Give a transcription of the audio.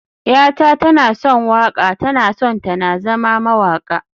yata tana son waƙa, tana son ta na zama mawaƙa